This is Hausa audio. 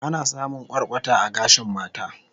Ana samun kwarkwata a gashin mata